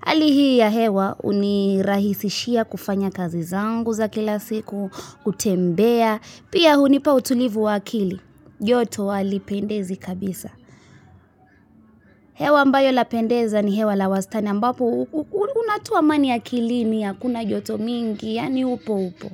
Hali hii ya hewa, unirahisishia kufanya kazi zangu za kila siku, kutembea, pia huni pa utulivu wa akili. Joto hali pendezi kabisa. Hewa ambayo la pendeza ni hewa la wastani, ambapo, unatoa amani akilini, hakuna joto mingi, yaani upo upo.